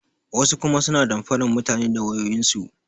Wasu kuma suna damfaran mutane da wayoyin su.